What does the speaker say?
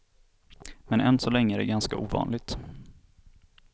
Men än så länge är det ganska ovanligt.